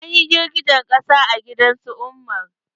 An yi girgijen ƙasa a gidan su umar.